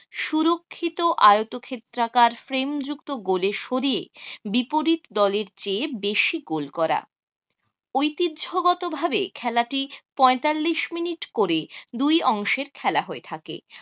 সুরক্ষিত আয়তক্ষেত্রাকার frame যুক্ত goal এ সরিয়ে বিপরীত দলের চেয়ে বেশি গোল করা। ঐতিহ্যগতভাবে খেলাটি পঁয়তাল্লিশ মিনিট করে দুই অংশের খেলা হয়ে থাকে।